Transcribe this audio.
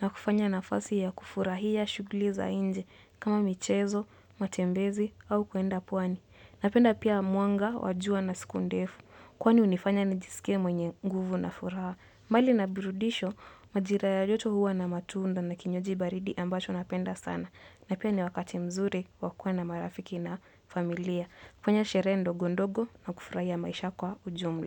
na kufanya nafasi ya kufurahia shughuli za inje kama michezo, matembezi au kwenda pwani. Napenda pia mwanga wa jua na siku ndefu kwani hunifanya nijisike mwenye nguvu na furaha. Mbali na burudisho majira ya joto huwa na matunda na kinywaji baridi ambacho napenda sana na pia ni wakati mzuri wakua na marafiki na familia. Fanya sherehe ndogo ndogo kwa kufurahia maisha kwa ujumla.